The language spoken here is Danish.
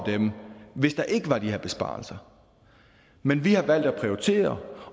dem hvis der ikke var de her besparelser men vi har valgt at prioritere